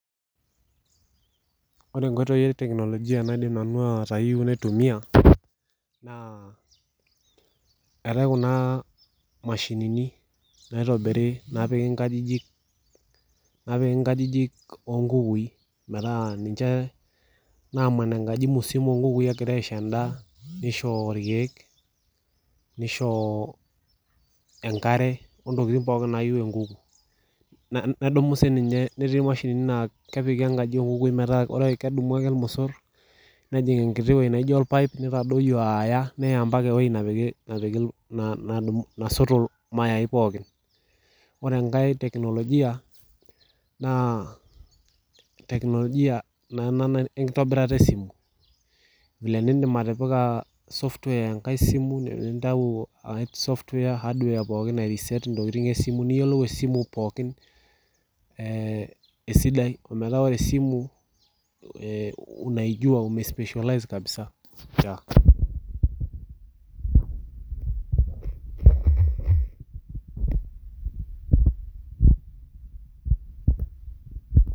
Ore inkoitoi e teknolojia nadim nanu atayieua naitumiya. naa eetai kuna mashinini naitobiri naapiki enkaji oonkukuku i metaa ninche naaman enkaji musima oo nkukui egirae aisho endaa neisho irkiek neisho enkare ontokitin pookin naayieu enkuku. netii imashinini naa kepiki enkaji oonkukui metaa kesumu ake irmosor nepik enkiti weueji neijio orpaep neitadoyio aaya neya ewueji nesoto irmae pookin ore enkae teknolojia naa technologia naa ena enkitobirata esimu vile nindiim atipika software enakae simu aya hardware airiseet intokitin pookin esimu niyiolou esimu pookin ee esidai metaa ore esimu pause .